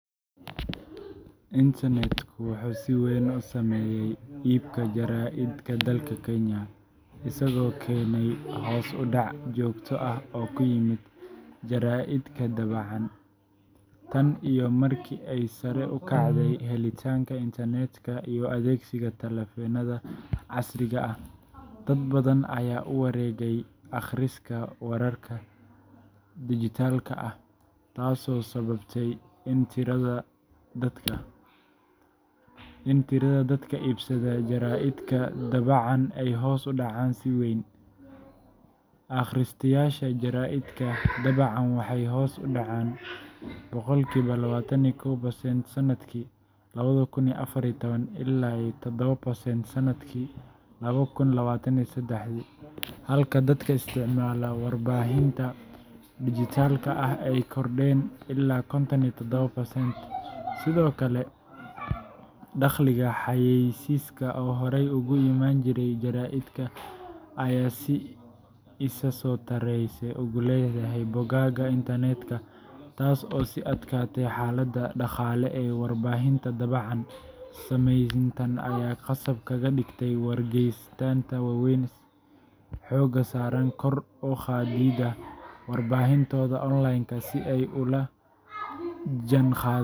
Internetku wuxuu si weyn u saameeyay iibka jaraa’idka dalka Kenya, isagoo keenay hoos u dhac joogto ah oo ku yimid jaraa’idka daabacan. Tan iyo markii ay sare u kacday helitaanka internetka iyo adeegsiga taleefannada casriga ah, dad badan ayaa u wareegay akhriska wararka dhijitaalka ah, taasoo sababtay in tirada dadka iibsada jaraa’idka daabacan ay hoos u dhacdo si weyn. Akhristayaasha jaraa’idka daabacan waxay hoos uga dhaceen boqolkiiba 21% sanadkii ilaa 7% sanadkii laba kun iyo labatan sedex halka dadka isticmaala warbaahinta dhijitaalka ah ay kordheen ilaa 57%. Sidoo kale, dakhliga xayeysiiska oo horey uga iman jiray jaraa’idka ayaa si isa soo taraysa ugu leexday bogagga internetka, taas oo sii adkaysay xaaladda dhaqaale ee warbaahinta daabacan. Saamayntan ayaa khasab kaga dhigtay wargeysyada waaweyn sida Daily Nation iyo The Standard inay xoogga saaraan kor u qaadidda warbaahintooda online-ka si ay ula jaanqaadaan.